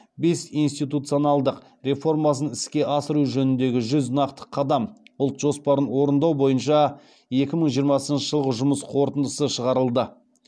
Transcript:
бес институционалдық реформасын іске асыру жөніндегі жүз нақты қадам ұлт жоспарын орындау бойынша екі мың жиырмасыншы жылғы жұмыс қорытындысы шығарылды